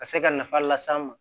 Ka se ka nafa las'an ma